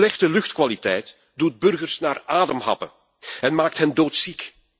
Slechte luchtkwaliteit doet burgers naar adem happen en maakt hen doodziek.